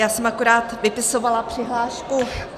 Já jsem akorát vypisovala přihlášku -